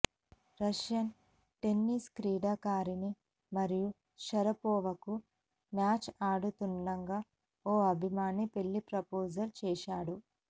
Russian tennis క్రీడాకారిణి Maria షరపోవాకు match ఆడుతుండగా ఓ అభిమాని పెళ్లి ప్రపోజల్ చేశాడు